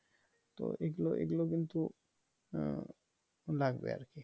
তো এইগুলো কিন্তু লাগবে আর কি